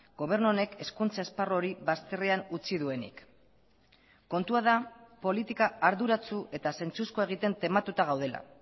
gobernu honek hezkuntza esparru hori bazterrean utzi duenik kontua da politika arduratsu eta zentzuzkoa egiten tematuta gaudela